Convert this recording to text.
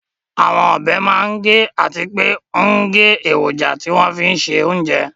Àwọn ọbẹ̀ máa ń gé àti pé ń gé èròjà tí wọ́n fín se oúnjẹ